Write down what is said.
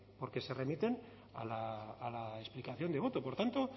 porque se remiten a la explicación de voto por tanto